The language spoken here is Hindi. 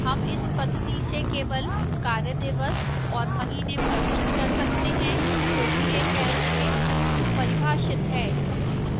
हम इस पद्धति से केवल कार्यदिवस और महीने प्रविष्ट कर सकते हैं क्योंकि यह calc में पूर्वपरिभाषित है